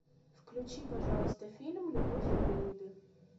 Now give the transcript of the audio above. включи пожалуйста фильм любовь и голуби